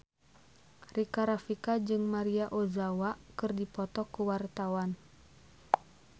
Rika Rafika jeung Maria Ozawa keur dipoto ku wartawan